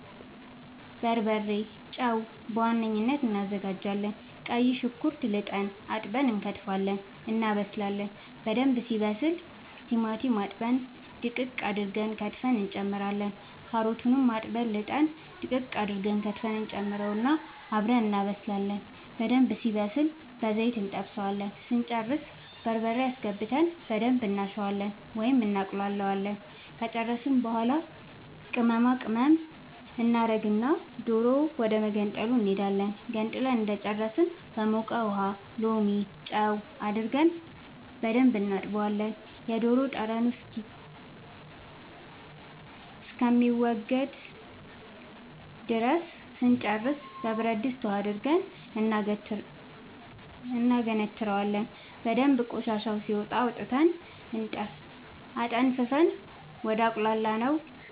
በርበሬ ጨው በዋነኝነት አናዘጋጃለን ቀይ ሽንኩርት ልጠን አጥበን እንከትፋለን እናበስላለን በደንብ ሲበስል ቲማቲም አጥበን ድቅቅ አርገን ከትፈን እንጨምራለን ካሮቱንም አጥበን ልጠን ድቅቅ አርገን ፍቀን እንጨምረውና አብረን እናበስላለን በደንብ ሲበስልልን በዘይት እንጠብሰዋለን ስንጨርስ በርበሬ አስገብተን በደንብ እናሸዋለን ወይም እናቁላለዋለን ከጨረስን በኃላ ቅመማ ቅመም እናደርግና ዶሮ ወደመገንጠሉ እንሄዳለን ገንጥለን እንደጨረስን በሞቀ ውሃ ሎሚ ጨው አርገን በደንብ እናጥበዋለን የዶሮ ጠረኑ እስከሚወገድ ድረስ ስንጨርስ በብረድስት ውሃ አድርገን እናገነትረዋለን በደንብ ቆሻሻው ሲወጣ አውጥተን አጠንፍፈን ወደ አቁላላነው